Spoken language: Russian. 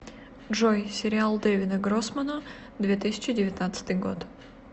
джой сериал дэвида гроссмана две тысячи девятнадцатый год